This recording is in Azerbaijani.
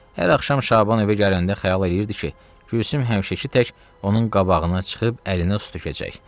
Hər axşam Şaban evə gələndə xəyal eləyirdi ki, Gülsüm həmişəki tək onun qabağına çıxıb əlinə su tökəcək.